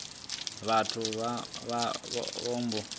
vhathu vha vha vho ambara